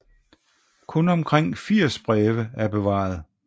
Kun omkring 80 breve er bevaret